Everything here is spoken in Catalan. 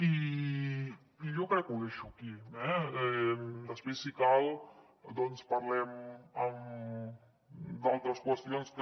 i jo crec que ho deixo aquí eh després si cal doncs parlem d’altres qüestions que